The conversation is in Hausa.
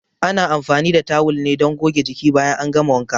Ana anfani da tawul ne don goge jiki bayan an gama wanka.